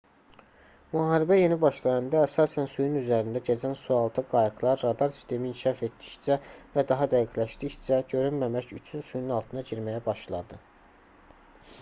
müharibə yeni başlayanda əsasən suyun üzərində gəzən sualtı qayıqlar radar sistemi inkişaf etdikcə və daha dəqiqləşdikcə görünməmək üçün suyun altına girməyə başladı